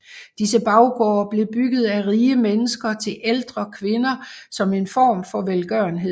Disse baggårde blev bygget af rige mennesker til ældre kvinder som en form for velgørenhed